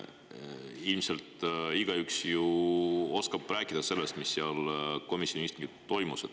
Ilmselt oskab ju igaüks rääkida sellest, mis seal komisjoni istungil toimus.